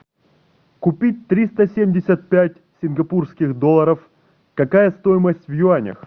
купить триста семьдесят пять сингапурских долларов какая стоимость в юанях